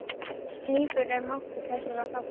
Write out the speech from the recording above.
Slíkur er máttur þessara þátta.